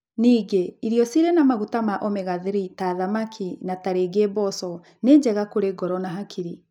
Ningĩ, irio cirĩ na maguta ma omega-3 ta thamaki na tarĩngĩ mboco nĩ njega kũrĩ ngoro na hakiri.